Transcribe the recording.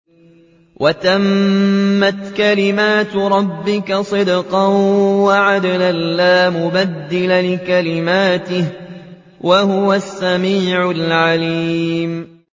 وَتَمَّتْ كَلِمَتُ رَبِّكَ صِدْقًا وَعَدْلًا ۚ لَّا مُبَدِّلَ لِكَلِمَاتِهِ ۚ وَهُوَ السَّمِيعُ الْعَلِيمُ